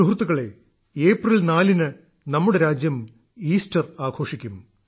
സുഹൃത്തുക്കളേ ഏപ്രിൽ നാലിന് നമ്മുടെ രാജ്യം ഈസ്റ്റർ ആഘോഷിക്കും